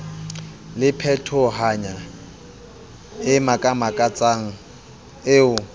le phetohonyana e makamakatsang eo